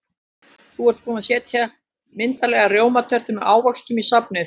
Þau eru búin að setja myndarlega rjómatertu með ávöxtum í safnið.